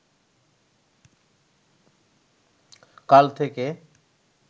কাল থেকে